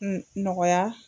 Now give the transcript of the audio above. Un nɔgɔya